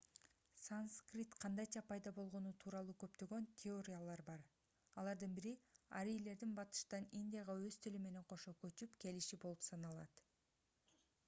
санскрит кандайча пайда болгону тууралуу көптөгөн теориялар бар алардын бири арийлердин батыштан индияга өз тили менен кошо көчүп келиши болуп саналат